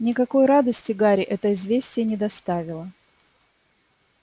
никакой радости гарри это известие не доставило